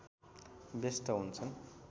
व्यस्थ हुन्छन्